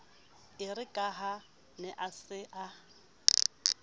erekaha a ne a sa